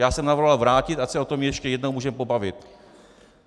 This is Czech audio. Já jsem navrhoval vrátit, ať se o tom ještě jednou můžeme pobavit.